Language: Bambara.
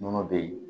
Nɔnɔ bɛ ye